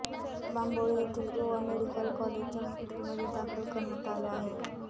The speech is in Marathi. बांबोळी येथील गोवा मेडिकल कॉलेजच्या हॉस्पिटलमध्ये दाखल करण्यात आले आहे